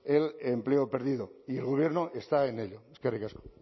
el empleo perdido y el gobierno está en ello eskerrik asko